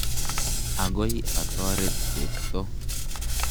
Akoi atoret Cheptoo.